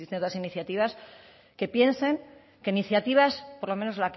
distintas iniciativas que piensen que iniciativas por lo menos